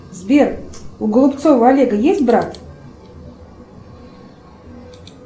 сбер у голубцова олега есть брат